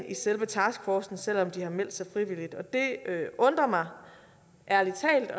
i selve taskforcen selv om de har meldt sig frivilligt og det undrer mig ærlig talt